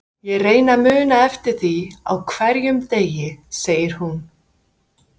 Ég reyni að muna eftir því á hverjum degi, segir hún.